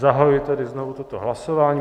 Zahajuji tedy znovu toto hlasování.